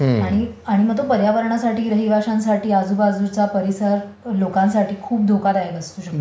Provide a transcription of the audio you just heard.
आणि मग तो पर्यावरणासाठी, रहिवाश्यांसाठी, आजूबाजूच्या परिसर, लोकांसाठी खूप धोकादायक असू शकतो.